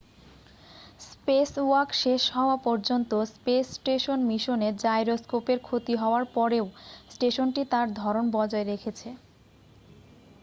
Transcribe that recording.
spacewalk শেষ হওয়া পর্যন্ত স্পেস স্টেশন মিশনে জাইরোস্কোপের ক্ষতি হওয়ার পরেও স্টেশনটি তার ধরন বজায় রেখেছে